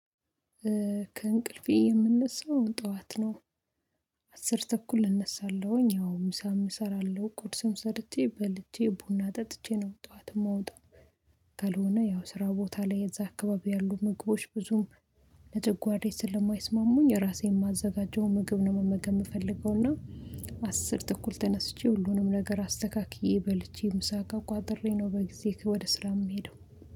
ከእንቅልፌ የምንነሳው ጥዋት ነው። አስር ተኩል እነሳለሁኝ ያው ምሳም እሰራለሁ ቁርስም ሰርቼ በልቼ ቡና ጠጥቼ ነው ጥዋት እማወጣው። ካልሆነ ያው ስራ ቦታ ላይ እዛ አካባቢ ያሉ ምግቦች ብዙም ለጨጓራየ ስለማይስማሙኝ ራሴ የማዘጋጀው ምግብ ነው መመገብ እምፈልገው እና። አስር ተኩል ተነስቼ ሁሉንም ነገር አስተካክዬ በልቼ ምሳ እቃ ቋጥሬ ነው በጊዜ ወደ ስራ እምሄደው።